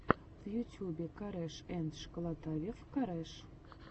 в ютьюбе корешэндшколотавев кореш